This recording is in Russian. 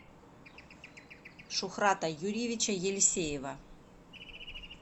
шухрата юрьевича елисеева